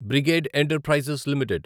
brigade enterprises limited